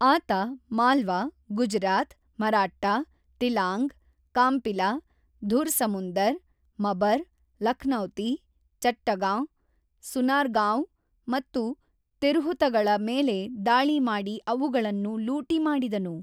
ಆತ ಮಾಲ್ವಾ, ಗುಜರಾತ್, ಮರಾಟ್ಟಾ, ತಿಲಾಂಗ್, ಕಾಂಪಿಲ, ಧುರ್-ಸಮುಂದರ್, ಮಬರ್, ಲಖ್ನೌತಿ, ಚಟ್ಟಗಾಂ, ಸುನಾರ್ಗಾವ್ ಮತ್ತು ತಿರ್ಹುತಗಳ ಮೇಲೆ ದಾಳಿ ಮಾಡಿ ಅವುಗಳನ್ನು ಲೂಟಿ ಮಾಡಿದನು.